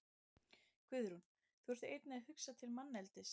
Guðrún: Þú ert einnig að hugsa til manneldis?